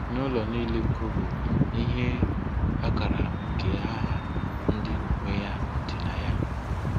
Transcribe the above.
N'ụlọ niile kobe ihe akara nke aha ndị nwe ya dị na ya.